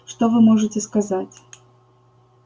что вы можете сказать